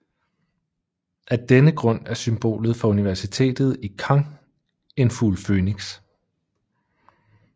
Af denne grund er symbolet for universitetet i Caen en fugl fønix